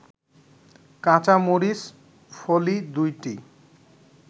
কাঁচামরিচ ফলি ২টি